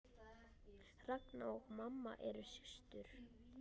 Ragna og mamma eru systur.